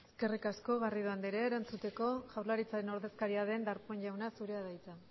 eskerrik asko garrido andrea erantzuteko jaurlaritzaren ordezkaria den darpón jauna zurea da hitza